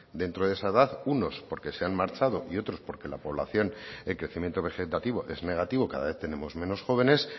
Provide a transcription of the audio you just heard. dentro de esa edad unos porque se han marchado y otros porque la población el crecimiento vegetativo es negativo cada vez tenemos menos jóvenes